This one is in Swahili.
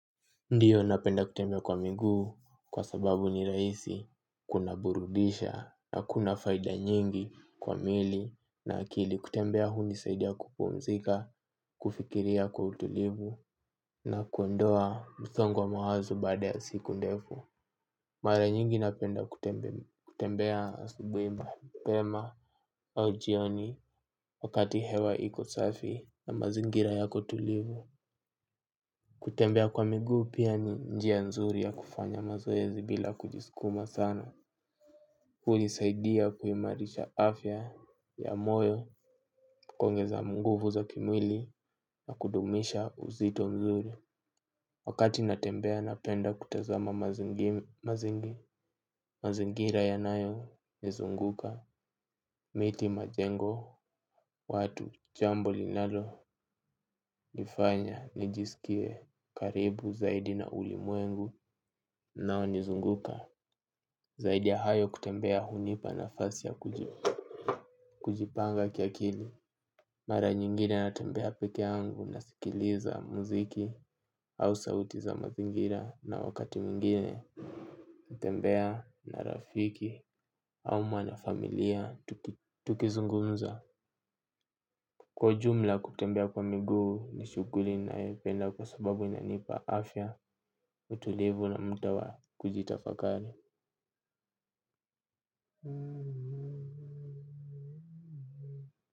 Ndiyo napenda kutembea kwa miguu kwa sababu ni rahisi kunaburudisha na kuna faida nyingi kwa miili na akili kutembea hunisaidia kupumzika kufikiria kwa utulivu na kuondoa msongo wa mawazo baada ya siku ndefu. Mara nyingi napenda kutembea asubuhi mapema au jioni wakati hewa iko safi na mazingira yako tulivu. Kutembea kwa miguu pia ni njia nzuri ya kufanya mazoezi bila kujiskuma sana. Hunisaidia kuimarisha afya ya moyo kuongeza nguvu za kimwili na kudumisha uzito mzuri. Wakati natembea napenda kutazama mazingira yanayonizunguka. Miti majengo watu jambo linalo nifanya nijiskie karibu zaidi na ulimwengu unaonizunguka. Zaidi ya hayo kutembea hunipa nafasi ya kujipanga kiakili. Mara nyingine natembea peke yangu nasikiliza muziki au sauti za mazingira na wakati mwingine. Natembea na rafiki ama na familia tukizungumza. Kwa ujumla, kutembea kwa miguu ni shughuli ninayoipenda kwa sababu inanipa afya utulivu na muda wa kujitafakari.